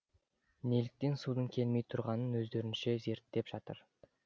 неліктен судың келмей тұрғанын өздерінше зерттеп жатыр